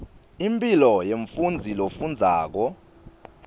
impilo yemfundzi lofundzako